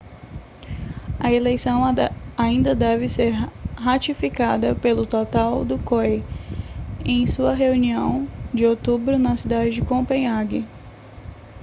a eleição ainda deve ser ratificada pelo total do coi em sua reunião de outubro na cidade de copenhague